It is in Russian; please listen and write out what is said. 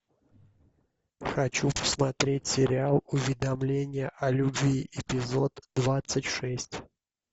хочу посмотреть сериал уведомление о любви эпизод двадцать шесть